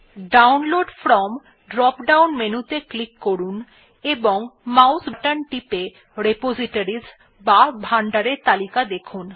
download from drop down মেনুত়ে click করুন এবং মাউস বাটন টিপে রিপোজিটরিস বা ভান্ডারের তালিকা দেখুন